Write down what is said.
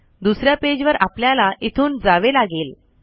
दुसऱ्या पेज वर आपल्याला इथून जावे लागेल